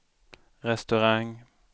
restaurang